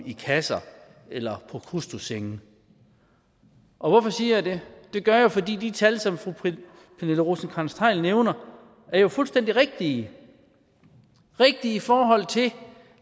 i kasser eller i prokrustessenge og hvorfor siger jeg det det gør jeg fordi de tal som fru pernille rosenkrantz theil nævner jo er fuldstændig rigtige rigtige i forhold til